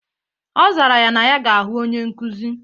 Ọ zara na ya ga-ahụ onye nkuzi.